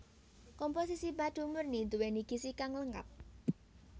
Komposisi madu murni nduwéni gizi kang lengkap